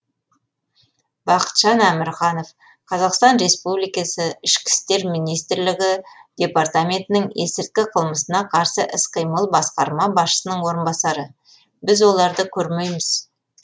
бақытжан әмірханов қазақстан республикасы ішкі істер министрлігі департаментінің есірткі қылмысына қарсы іс қимыл басқарма басшысының орынбасары біз оларды көрмейміз